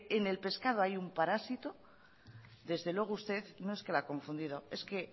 en el pescado hay un parásito desde luego usted no es que la ha confundido es que